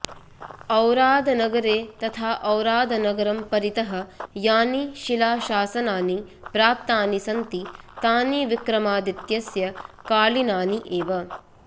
औरादनगरे तथा औरादनगरं परितः यानि शिलाशासनानि प्राप्तानि सन्ति तानि विक्रमादित्यस्य कालीनानि एव